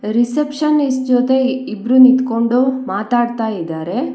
Receptionist ಜೊತೆ ಇಬ್ರೂ ನಿಂತ್ಕೊಂಡು ಮಾತಾಡ್ತಾ ಇದ್ದಾರೆ.